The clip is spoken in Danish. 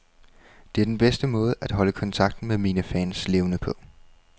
Det er den bedste måde at holde kontakten med mine fans levende på.